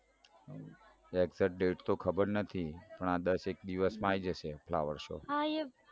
Exect date તો ખબર નથી પણ આ દસ એક દિવસમાં આવી જશે flower show